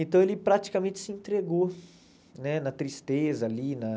Então ele praticamente se entregou né na tristeza ali na.